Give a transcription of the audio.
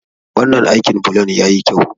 Wannan aikin bulon ya yi kyau.